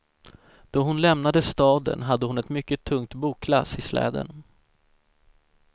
Då hon lämnade staden hade hon ett mycket tungt boklass i släden.